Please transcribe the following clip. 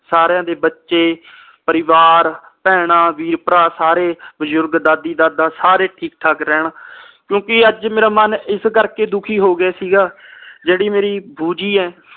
ਸਾਰਿਆਂ ਦੇ ਬੱਚੇ ਪਰਿਵਾਰ ਭੈਣਾਂ ਵੀਰ ਭਰਾ ਸਾਰੇ ਬਜ਼ੁਰਗ ਦਾਦੀ ਦਾਦਾ ਸਾਰੇ ਠੀਕ ਠਾਕ ਰਹਿਣ ਕਿਉਂਕਿ ਅੱਜ ਮੇਰਾ ਮਨ ਇਸ ਕਰਕੇ ਦੁਖੀ ਹੋਗਿਆ ਸੀ ਗਾ ਜਿਹੜੀ ਮੇਰੀ ਭੂਜੀ ਆ